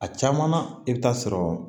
A caman na i bɛ taa sɔrɔ